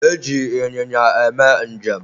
E ji ịnyịnya eme njem